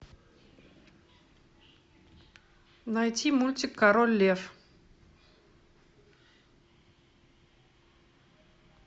найти мультик король лев